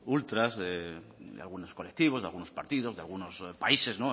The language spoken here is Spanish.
ultras de algunos colectivos de algunos partidos de algunos países